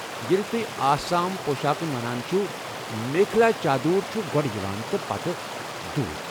ییٚلہِ تۄہہِ آسامٕہِ پۄشاكھ ونان چھِوٕ میخلا چادور چھُ گۄڈٕ یوان تہٕ پتہٕ دھوٗتہِ ۔